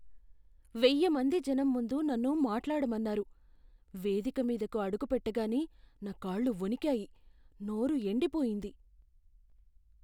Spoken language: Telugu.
వెయ్య మంది జనం ముందు నన్ను మాట్లాడమన్నారు. వేదిక మీదకు అడుగుపెట్టగానే నా కాళ్లు వణికాయి, నోరు ఎండిపోయింది.